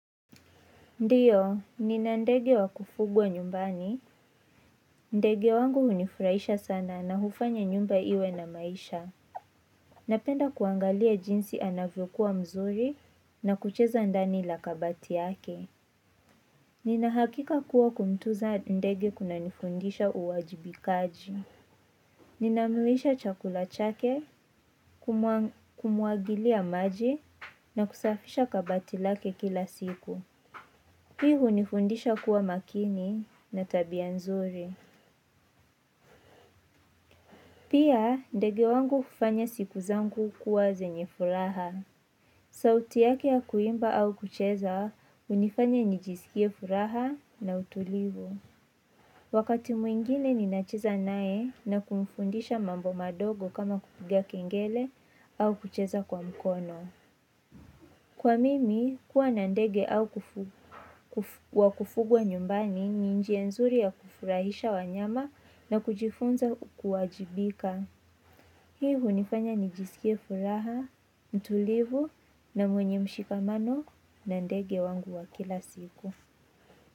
Ndiyo, nina ndege wa kufugwa nyumbani. Ndege wangu hunifurahisha sana na hufanya nyumba iwe na maisha. Napenda kuangalia jinsi anavyokuwa mzuri nakucheza ndani la kabati yake. Ninahakika kuwa kumtunza ndege kuna nifundisha uwajibikaji. Ninamilisha chakula chake, kumwagilia maji na kusafisha kabati lake kila siku. Hii hunifundisha kuwa makini na tabia nzuri. Pia ndege wangu kufanya siku zangu kuwa zenye furaha. Sauti yake ya kuimba au kucheza hunifanya nijisikie furaha na utulivu. Wakati mwingine ninacheza naye nakumfundisha mambo madogo kama kupiga kengele au kucheza kwa mkono. Kwa mimi, kuwa na ndege wa kufugwa nyumbani ni njia nzuri ya kufurahisha wanyama na kujifunza kuwajibika. Hii hunifanya nijisikie furaha, utulivu na mwenye mshikamano na ndege wangu wa kila siku.